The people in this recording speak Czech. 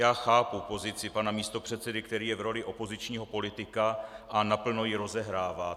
Já chápu pozici pana místopředsedy, který je v roli opozičního politika a naplno ji rozehrává.